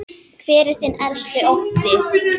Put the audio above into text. Hver er þinn helsti ótti?